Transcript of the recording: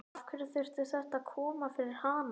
Af hverju þurfti þetta að koma fyrir hana?